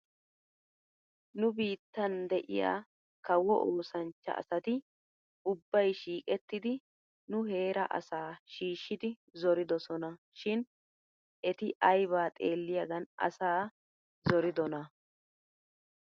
Nu biittan de'iyaa kawo oosanchcha asati ubbay shiiqettidi nu heeraa asaa shiishidi zoridesona shin eti aybaa xeelliyaagan asaa zoridonaa ?